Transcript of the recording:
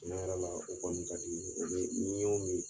Tiɲɛ yɛrɛ la o kɔni ka di, o bɛ ni y'o min